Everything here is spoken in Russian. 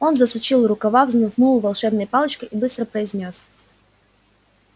он засучил рукава взмахнул волшебной палочкой и быстро произнёс